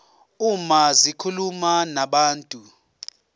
uma zikhuluma nabantu